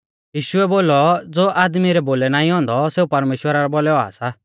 यीशुऐ बोलौ ज़ो आदमी रै बोलै नाईं औन्दौ सेऊ परमेश्‍वरा रै बोलै औआ सा